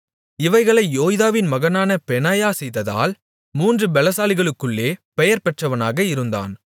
இவைகளை யோய்தாவின் மகனான பெனாயா செய்ததால் மூன்று பெலசாலிகளுக்குள்ளே பெயர்பெற்றவனாக இருந்தான்